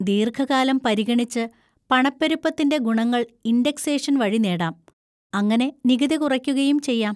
ദീർഘകാലം പരിഗണിച്ച് പണപ്പെരുപ്പത്തിൻ്റെ ഗുണങ്ങൾ ഇൻഡെക്സേഷൻ വഴി നേടാം, അങ്ങനെ നികുതി കുറയ്ക്കുകയും ചെയ്യാം.